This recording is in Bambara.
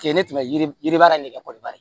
Kɛɲɛ ne tun bɛ yiriba yɛrɛ nege kɔrɔba de